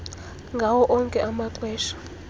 ngawo onke amaxesha